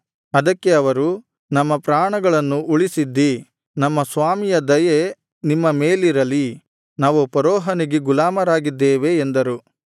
ಅದಕ್ಕೆ ಅವರು ನಮ್ಮ ಪ್ರಾಣಗಳನ್ನು ಉಳಿಸಿದ್ದೀ ನಮ್ಮ ಸ್ವಾಮಿಯ ದಯೆ ನಿಮ್ಮ ಮೇಲಿರಲಿ ನಾವು ಫರೋಹನಿಗೆ ಗುಲಾಮರಾಗಿದ್ದೇವೆ ಎಂದರು